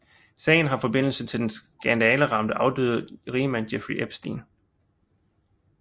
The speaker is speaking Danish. Sagen har forbindelse til den skandaleramte afdøde rigmand Jeffrey Epstein